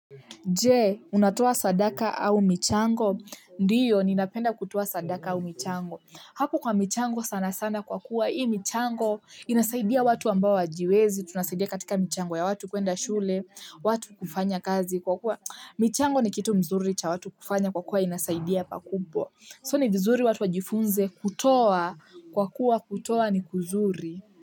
Je, unatoa sadaka au michango? Ndio, ninapenda kutoa sadaka au michango. Hapo kwa michango sana sana kwa kuwa hii michango inasaidia watu ambao hawajiwezi, tunasaidia katika michango ya watu kuenda shule watu kufanya kazi kwa kuwa michango ni kitu mzuri cha watu kufanya kwa kuwa inasaidia pakubwa. So ni vizuri watu wajifunze kutoa kwa kuwa kutoa ni kuzuri.